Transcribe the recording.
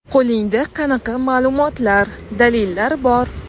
Qo‘lingda qanaqa ma’lumotlar, dalillar bor?